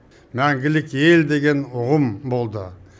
мәңгілік ел деген ұғым болды